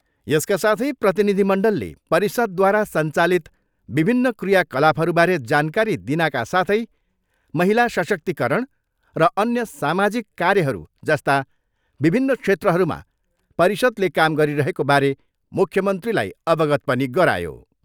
यसका साथै प्रतिनिधिमण्डलले परिषदद्वारा सञ्चालित विभिन्न क्रियाकलापहरूबारे जानकारी दिनाका साथै महिला सशक्तिकरण र अन्य सामाजिक कार्यहरू जस्ता विभिन्न क्षेत्रहरूमा परिषदले काम गरिरहेको बारे मुख्यमन्त्रीलाई अवगत पनि गरायो।